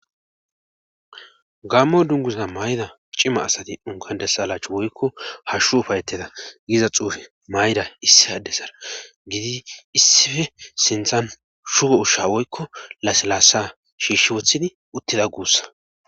gammo dunguza mayida cima asati enkuwan des alaachu woykko hashu ufayeteda giiza xuufe mayida issi addezara gidi issife sinthan shugo ushsha woykko laselaassa shiishi wothidi uttida guussa.